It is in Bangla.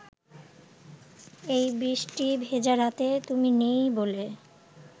এই বৃষ্টি ভেজা রাতে তুমি নেই বলে